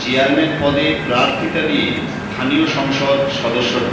chairman পদে প্রার্থীতা নিয়ে স্থানীয় সংসদ সদস্য ড